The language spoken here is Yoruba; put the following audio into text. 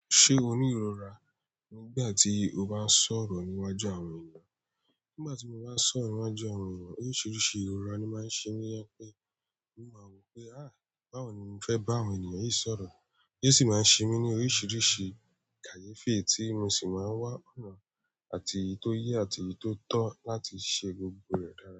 Se o ni irora nígbà ti o ba nsoro níwájú àwọn eeyan. Nígbà tí mo bá ń sọ̀rọ̀ níwájú àwọn ènìyàn, oríṣiríṣi ìrora ni máa ń ṣe mí. To je pé in máa rò pé, àh, báwo ni mó fẹ́ bá àwọn ènìyàn yìí sọ̀rọ̀? Yé ṣì máa ń ṣe mí ní oríṣiríṣi kàyèfí, tí mo sì máa ń wá ọ̀nà àti èyí tò yé àti èyí tò tó láti ṣe gbogbo rẹ̀ dára.